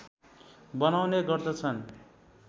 बनाउने गर्दछन्